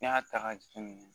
N'i y'a ta k'a jateminɛ